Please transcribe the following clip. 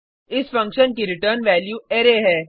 इस फंक्शन की return value array है